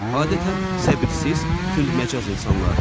Adətən səbirsiz, tündməcaz insanlardır.